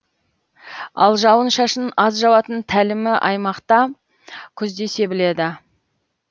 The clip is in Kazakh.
ал жауын шашын аз жауатын тәлімі аймақта күзде себіледі